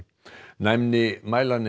næmni